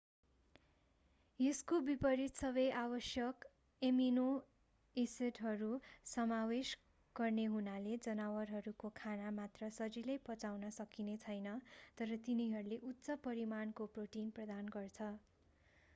यसको विपरित सबै आवश्यक एमिनो एसिडहरू समावेश गर्ने हुनाले जनावरहरूको खाना कमिला धमिरा अन्डा मात्र सजिलै पचाउन सकिने छैन तर तिनीहरूले उच्च परिमाणको प्रोटिन प्रदान गर्छ।